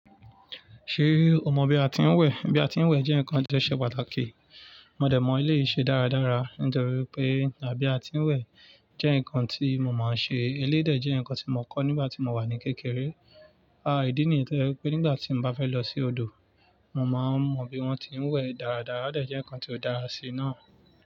Ṣé o mọ bí a ti ń wẹ̀? Bí a ti ń wẹ̀ jẹ́ ǹkan ìjọ̀ṣẹ̀ pàtàkì. Mọ dẹ̀ mọ ilé ìṣe dáradára, nítorí pé bí a ti ń wẹ̀ jẹ́ ǹkan tí mo máa ń ṣe. Eléidè jẹ́ ǹkan tí mo kọ́ nígbà tí mo wà ní kékeré. A ìdí nìi toye e pé nígbà tí mo bá fẹ́ lọ sí odò, mo máa mọ bí wọ́n ti ń wẹ̀ dáradára, ó jẹ́ ǹkan tí ó dára sí náà.